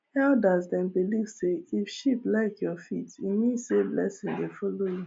elders dem believe say if sheep lik your feet e mean say blessings dey follow you